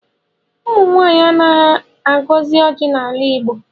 Ụmụnwaanyị anaghị agọzi ọjị n'ala Igbo.